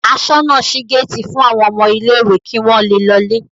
Aṣọ́nà ṣí géétì fún àwọn ọmọ ilé-ìwé kí wọ́n le lọlé.